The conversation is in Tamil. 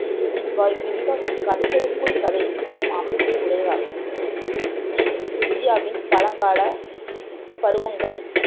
இவ்வ இவ்விதிகாசம் கதைக்குள் கதை சொல்லும் அமைப்பை உடையதாகும் இவ் இந்தியாவின் பழங்கால பருவங்கள்